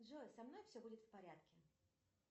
джой со мной все будет в порядке